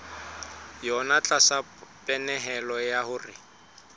yona tlasa pehelo ya hore